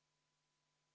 Head Riigikogu liikmed!